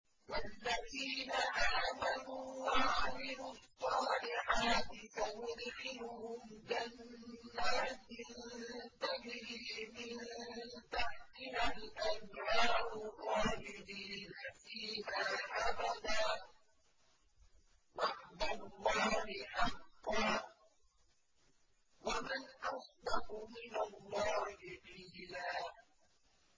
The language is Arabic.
وَالَّذِينَ آمَنُوا وَعَمِلُوا الصَّالِحَاتِ سَنُدْخِلُهُمْ جَنَّاتٍ تَجْرِي مِن تَحْتِهَا الْأَنْهَارُ خَالِدِينَ فِيهَا أَبَدًا ۖ وَعْدَ اللَّهِ حَقًّا ۚ وَمَنْ أَصْدَقُ مِنَ اللَّهِ قِيلًا